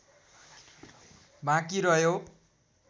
बाँकी रह्यो